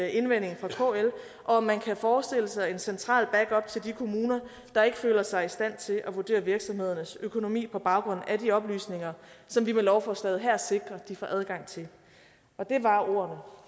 indvending fra kl og om man kan forestille sig en central backup til de kommuner der ikke føler sig i stand til at vurdere virksomhedernes økonomi på baggrund af de oplysninger som vi med lovforslaget her sikrer de får adgang til og det var ordene